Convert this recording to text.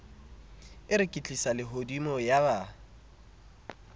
e reketlisa lehodimo ya ba